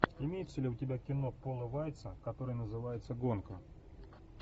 имеется ли у тебя кино пола вайтса которое называется гонка